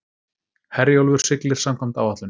Herjólfur siglir samkvæmt áætlun